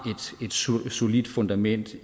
et solidt fundament